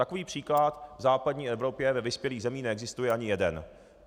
Takový příklad v západní Evropě ve vyspělých zemích neexistuje ani jeden.